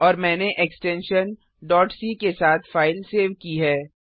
और मैंने extension c के साथ फाइल सेव की है